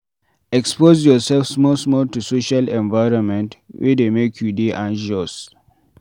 Expose yourself small small to social environment wey dey make you dey anxious